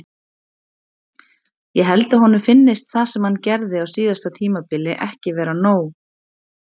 Ég held að honum finnist það sem hann gerði á síðasta tímabili ekki vera nóg.